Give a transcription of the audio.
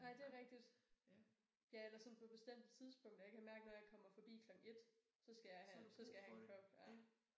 Ej det rigtigt. Ja eller sådan på bestemte tidspunkter jeg kan mærke når jeg kommer forbi klokken 1 så skal jeg så skal jeg have en kop ja